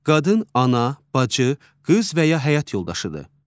Qadın, ana, bacı, qız və ya həyat yoldaşıdır.